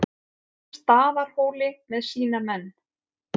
Staðarhóli með sína menn.